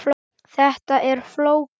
Þetta er flókið.